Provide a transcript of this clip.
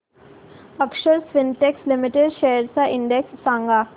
अक्षर Spintex limited shares चा index सांगा